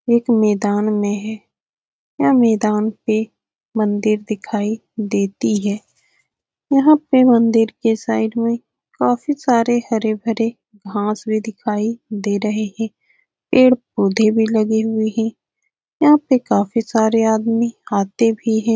एक मैदान में है। यह मैदान पे मंदिर दिखाई देती है। यहाँ पर मंदिर के साइड में काफी सारे हरे-भरे घास भी दिखाई दे रहे है। पेड़-पोधे भी लगे हुए है। यहाँ पे काफी सारे आदमी आते भी है।